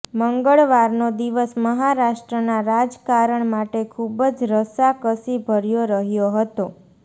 મંગળવારનો દિવસ મહારાષ્ટ્રના રાજકારણ માટે ખૂબજ રસાકસીભર્યો રહ્યો હતો